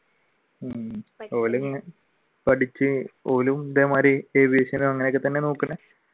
ഉം പഠിച്ചു ഓരും ഇതേമാതിരി aviation ഉം അങ്ങനൊക്കെത്തന്നെയാണ് നോക്കണം?